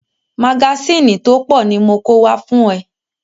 Magásìnì tó pọ̀ ni mo kó wá fún ẹ.